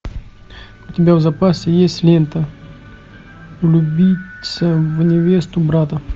у тебя в запасе есть лента влюбиться в невесту брата